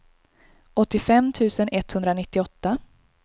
åttiofem tusen etthundranittioåtta